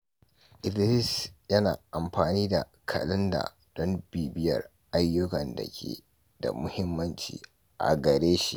Idris yana amfani da kalanda don bibiyar duk ayyukan da ke da muhimmanci a gare shi.